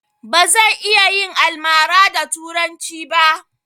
Bazan iya yin almara da turanci ba